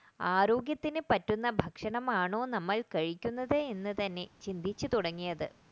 ആരോഗ്യത്തിന് പറ്റുന്ന ഭക്ഷണമാണോ നമ്മൾ കഴിക്കുന്നത് എന്ന് തന്നെ ചിന്തിച്ചു തുടങ്ങിയത്